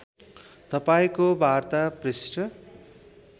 तपाईँको वार्ता पृष्ठ